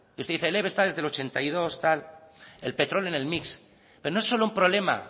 usted dice el eve está desde el ochenta y dos tal el petróleo en el mix pero no es solo un problema